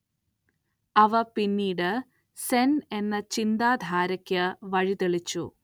അവ പിന്നീട് സെൻ എന്ന ചിന്താധാരക്ക് വഴിതെളിച്ചു.